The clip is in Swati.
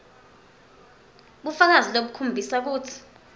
bufakazi lobukhombisa kutsi